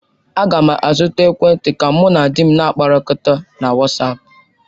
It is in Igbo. Aga m azụta ekwentị ka mụ na di m na-akpakọrịta na wasapu.